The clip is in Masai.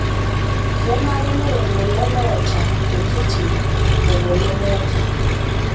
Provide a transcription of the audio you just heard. Keshaikino neret lelo oota ntokitin lelo lemeeta